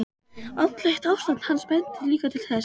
Andlegt ástand hans benti líka til þess.